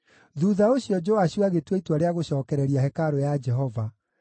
Thuutha ũcio Joashu agĩtua itua rĩa gũcookereria hekarũ ya Jehova.